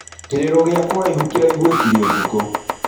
Kĩrĩro gĩa kũraĩhĩ kĩraĩgũĩkĩre ũtũko.